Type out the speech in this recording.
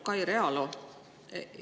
Lugupeetud Kai Realo!